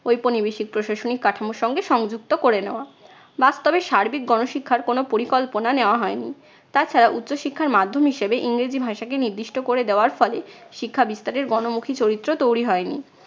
ঔপনিবেশিক প্রশাসনিক কাঠামোর সঙ্গে সংযুক্ত করে নেওয়া। তবে সার্বিক গণ শিক্ষার কোনো পরিকল্পনা নেওয়া হয়নি। তাছাড়া উচ্চ শিক্ষার মাধ্যম হিসাবে ইংরেজি ভাষাকে নির্দিষ্ট করে দেওয়ার ফলে শিক্ষা বিস্তারের গণমুখী চরিত্র তৈরী হয়নি।